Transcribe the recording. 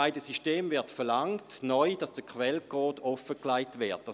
Bei beiden Systemen wird neu verlangt, dass der Quellcode offengelegt wird.